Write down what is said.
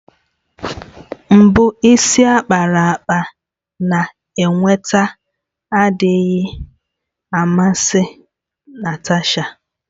Mgbu isi ákpáraàkpà na-eweta adịghị amasị Natasha.